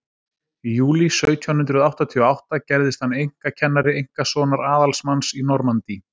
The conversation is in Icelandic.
í júlí sautján hundrað áttatíu og átta gerðist hann einkakennari einkasonar aðalsmanns í normandí